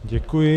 Děkuji.